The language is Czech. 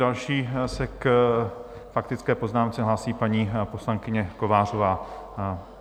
Další se k faktické poznámce hlásí paní poslankyně Kovářová.